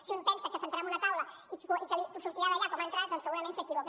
si un pensa que s’asseurà en una taula i que sortirà d’allà com ha entrat doncs segurament s’equivoca